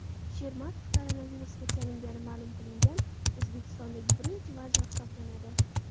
Shermatov koronavirusga chalingani ma’lum qilingan O‘zbekistondagi birinchi vazir hisoblanadi .